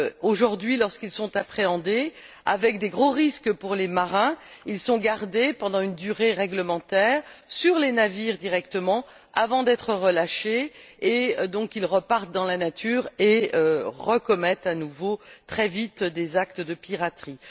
Aujourd'hui, lorsqu'ils sont appréhendés, avec de gros risques pour les marins, ils sont gardés pendant une durée réglementaire directement sur les navires avant d'être relâchés et donc ils repartent dans la nature et commettent à nouveau, très vite, des actes de piraterie.